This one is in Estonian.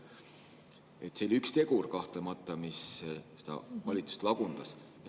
See oli üks tegur, kahtlemata, mis valitsust lagundas.